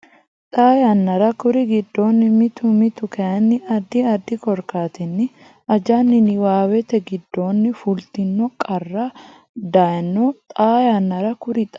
Xaa yannara kuri giddonni mitu mitu kayinni addi addi korkaatinni ajanni Niwaawete giddonni fultino qara dayno Xaa yannara kuri Xaa.